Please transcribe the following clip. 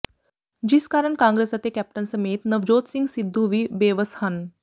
ਜਿਸ ਕਾਰਨ ਕਾਂਗਰਸ ਅਤੇ ਕੈਪਟਨ ਸਮੇਤ ਨਵਜੋਤ ਸਿੰਘ ਸਿੱਧੂ ਵੀ ਬੇਵੱਸ ਹਨ